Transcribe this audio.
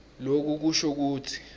loku kusho kutsi